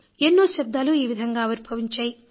ఎన్నో శబ్దాలు ఈ విధంగా ఆవిర్భవించాయి